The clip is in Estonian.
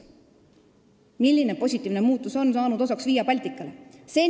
Milline positiivne muutus on saanud osaks Via Balticale?